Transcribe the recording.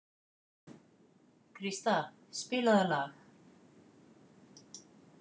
Krista, spilaðu lag.